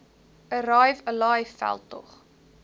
arrive alive veldtog